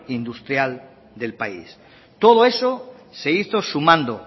industrial del país todo eso se hizo sumando